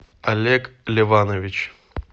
олег леванович